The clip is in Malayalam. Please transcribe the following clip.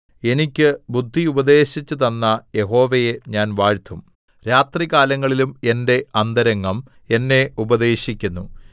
എനിക്ക് ബുദ്ധി ഉപദേശിച്ചുതന്ന യഹോവയെ ഞാൻ വാഴ്ത്തും രാത്രികാലങ്ങളിലും എന്റെ അന്തരംഗം എന്നെ ഉപദേശിക്കുന്നു